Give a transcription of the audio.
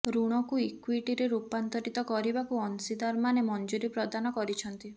ଋଣକୁ ଇକ୍ୱିଟିରେ ରୂପାନ୍ତରିତ କରିବାକୁ ଅଂଶୀଦାରମାନେ ମଞ୍ଜୁରୀ ପ୍ରଦାନ କରିଛନ୍ତି